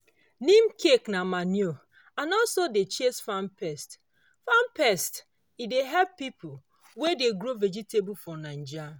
neem cake na manure and also dey chase farm pests farm pests e help people wey dey grow vegetable for naija